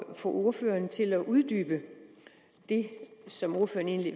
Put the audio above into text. at få ordføreren til at uddybe det som ordføreren egentlig